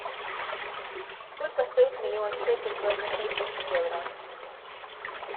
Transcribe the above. сколько стоит миллион шекель по отношению к евро